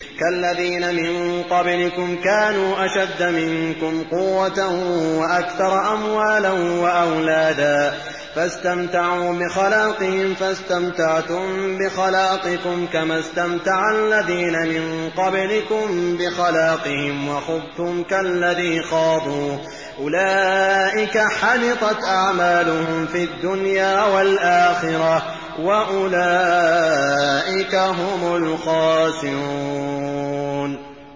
كَالَّذِينَ مِن قَبْلِكُمْ كَانُوا أَشَدَّ مِنكُمْ قُوَّةً وَأَكْثَرَ أَمْوَالًا وَأَوْلَادًا فَاسْتَمْتَعُوا بِخَلَاقِهِمْ فَاسْتَمْتَعْتُم بِخَلَاقِكُمْ كَمَا اسْتَمْتَعَ الَّذِينَ مِن قَبْلِكُم بِخَلَاقِهِمْ وَخُضْتُمْ كَالَّذِي خَاضُوا ۚ أُولَٰئِكَ حَبِطَتْ أَعْمَالُهُمْ فِي الدُّنْيَا وَالْآخِرَةِ ۖ وَأُولَٰئِكَ هُمُ الْخَاسِرُونَ